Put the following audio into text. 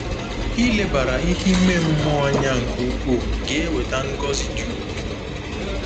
Ilebara ihe ime mmụọ anya nke ukwuu ga-eweta ngọzi dị ukwuu.